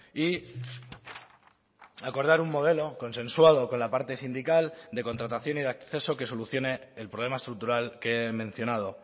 y acordar un modelo consensuado con la parte sindical de contratación y de acceso que solucione el problema estructural que he mencionado